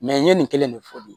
n ye nin kelen de fɔ bi